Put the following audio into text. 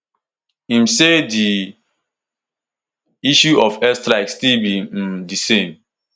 im say di issue of airstrike still be um di same